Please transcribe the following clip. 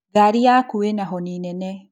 Ngari yaku ĩna honi nene